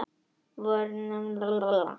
Vondur er vanþakklátur gestur.